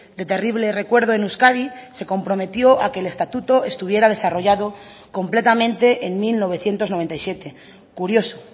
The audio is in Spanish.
de terrible recuerdo en euskadi se comprometió a que el estatuto estuviera desarrollado completamente en mil novecientos noventa y siete curioso